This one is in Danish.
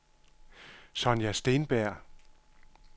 Sonja Steenberg